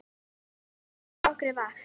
Þetta dugði þeim.